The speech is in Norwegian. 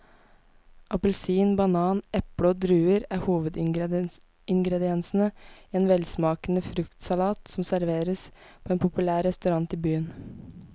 Appelsin, banan, eple og druer er hovedingredienser i en velsmakende fruktsalat som serveres på en populær restaurant i byen.